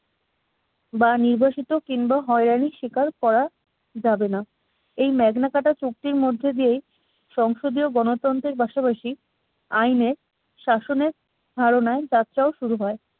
বা নির্বাসিত কিংবা হয়রানির শিকার করা যাবে না। এই ম্যাগনাকাটা চুক্তির মধ্য দিয়েই সংসদীয় গণতন্ত্রের পাশাপাশি আইনে শাসনে ধারণায় যাত্রাও শুরু হয়